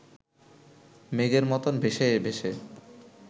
মেঘের মতন ভেসে ভেসে